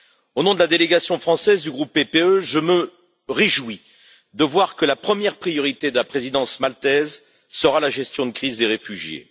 Au nom de la délégation française du groupe PPE, je me réjouis de voir que la première priorité de la présidence maltaise sera la gestion de crise des réfugiés.